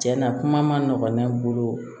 Tiɲɛna kuma ma nɔgɔn ne bolo